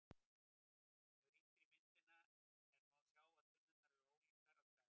Ef rýnt er í myndina er má sjá að tunnurnar eru ólíkar að stærð.